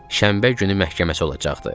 Şənbə günü məhkəməsi olacaqdı.